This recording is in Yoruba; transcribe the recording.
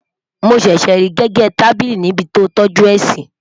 mọ ṣẹṣẹ rí gégé tábìlì ní ibì tí o toju é si